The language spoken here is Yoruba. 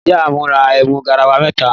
Ìyá mí rà ẹmú gàráwà mẹtà.